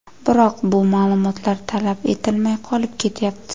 Biroq bu ma’lumotlar talab etilmay qolib ketyapti.